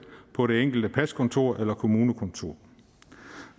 på det enkelte paskontor eller kommunekontor